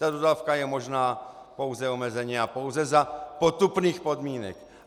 Ta dodávka je možná pouze omezeně a pouze za potupných podmínek.